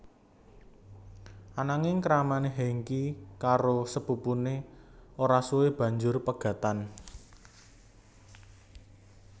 Ananging kramané Hengky karo sepupuné ora suwe banjur pegatan